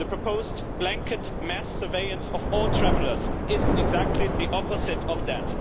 The proposed blanket mass surveillance of all travellers is exactly the opposite of that.